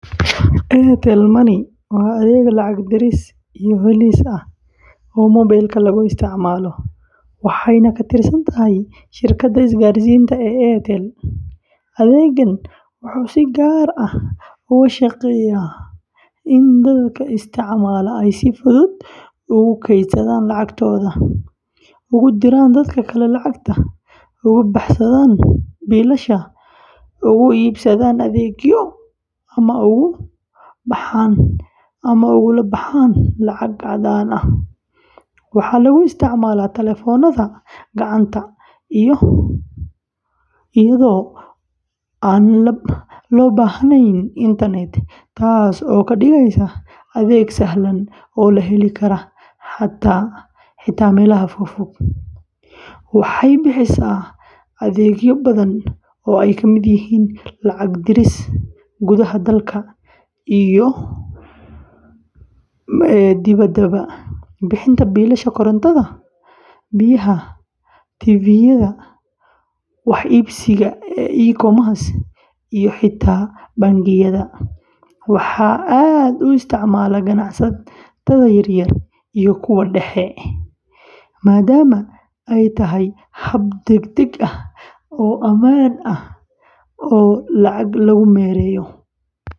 Airtel Money waa adeeg lacag diris iyo helis ah oo mobile-ka lagu isticmaalo, waxayna ka tirsan tahay shirkadda isgaarsiinta ee Airtel. Adeeggan wuxuu si gaar ah uga shaqeeyaa in dadka isticmaala ay si fudud ugu kaydsadaan lacagtooda, ugu diraan dad kale, uga bixiyaan biilasha, ugu iibsadaan adeegyo, ama ugu baxaan lacag caddaan ah. Waxaa lagu isticmaalaa taleefannada gacanta iyadoo aan loo baahnayn internet, taas oo ka dhigaysa adeeg sahlan oo la heli karo xitaa meelaha fogfog. Waxay bixisaa adeegyo badan oo ay ka mid yihiin lacag diris gudaha dalka iyo dibaddaba, bixinta biilasha korontada, biyaha, Tv-yada, wax iibsiga e-commerce, iyo xitaa bangiyada. Waxaa aad u isticmaala ganacsatada yaryar iyo kuwa dhexe, maadaama ay tahay hab degdeg ah oo ammaan ah oo lacag lagu maareeyo.